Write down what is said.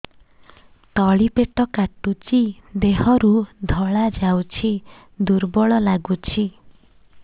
ତଳି ପେଟ କାଟୁଚି ଦେହରୁ ଧଳା ଯାଉଛି ଦୁର୍ବଳ ଲାଗୁଛି